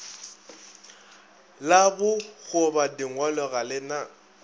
la bokgobadingwalo ga le na